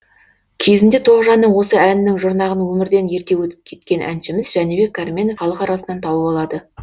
кезінде тоғжанның осы әнінің жұрнағын өмірден ерте кеткен әншіміз жәнібек кәрменов халық арасынан тауып алады